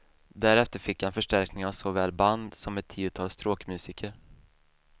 Därefter fick han förstärkning av såväl band som ett tiotal stråkmusiker.